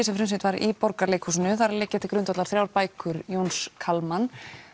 sem frumsýnt var í Borgarleikhúsinu þar liggja til grundvallar þrjár bækur Jóns Kalman